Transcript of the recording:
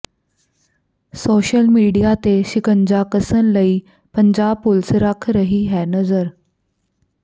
social media ਤੇ ਸ਼ਿਕੰਜਾ ਕਸਣ ਲਈ ਪੰਜਾਬ ਪੁਲਸ ਰੱਖ ਰਹੀ ਹੈ ਨਜ਼ਰ